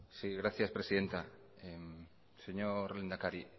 sí gracias presidenta señor lehendakari